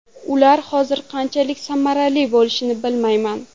Ular hozir qanchalik samarali bo‘lishini bilmayman.